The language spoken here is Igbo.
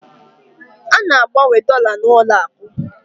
A na-agbanwe dọla n'ụlọakụ